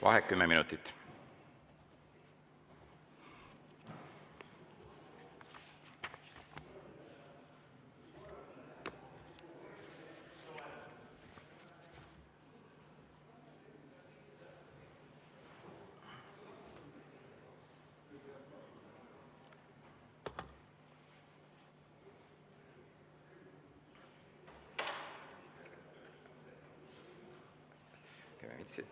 Vaheaeg 10 minutit.